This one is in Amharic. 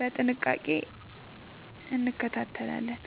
በጥንቃቄ እንከታተላለን።